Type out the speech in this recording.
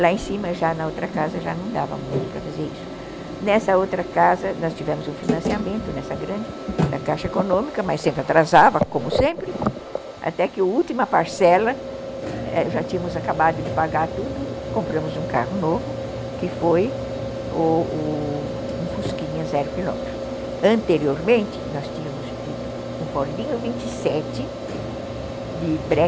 Lá em cima já na outra casa já não dava muito para fazer isso. Nessa outra casa nós tivemos um financiamento, nessa grande, da caixa econômica. Mas, sempre atrasava como sempre, até que a última parcela, já tínhamos acabado de pagar tudo e compramos um carro novo, que foi o o um fusquinha zero quilômetros, anteriormente, nós tínhamos tido um Fordinho vinte e sete de breque